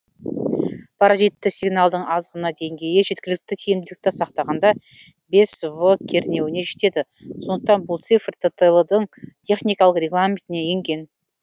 паразитті сигналдың аз ғана деңгейі жеткілікті тиімділікті сақтағанда бес в кернеуіне жетеді сондықтан бұл цифр ттл дың техникалық регламентіне енген